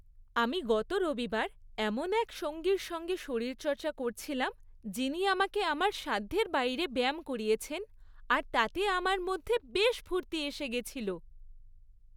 আমি গত রবিবার এমন এক সঙ্গীর সঙ্গে শরীরচর্চা করছিলাম যিনি আমাকে আমার সাধ্যের বাইরে ব্যায়াম করিয়েছেন আর তাতে আমার মধ্যে বেশ ফুর্তি এসে গেছিল।